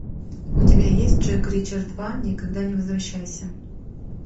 у тебя есть джек ричер два никогда не возвращайся